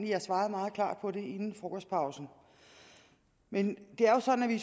jeg svarede meget klart på det inden frokostpausen men det er jo sådan at vi i